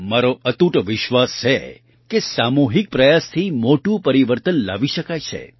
મારો અતૂટ વિશ્વાસ છે કે સામૂહિક પ્રયાસથી મોટું પરિવર્તન લાવી શકાય છે